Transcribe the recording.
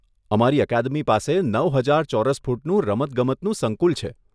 અમારી અકાદમી પાસે નવ હજાર ચોરસ ફૂટનું રમતગમતનું સંકુલ છે.